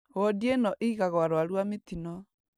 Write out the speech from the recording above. Wodi ĩno ĩigagwo arwaru a mĩtino